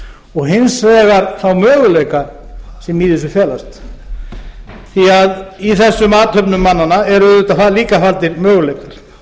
og hins vegar þá möguleika sem í þessu felast því að í þessum athöfnum mannanna er auðvitað líka faldir möguleikar